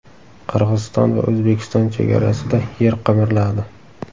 Qirg‘iziston va O‘zbekiston chegarasida yer qimirladi.